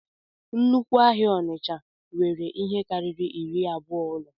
Nnukwu ahịa onitsha nwere ihe karịrị iri abụọ ụlọ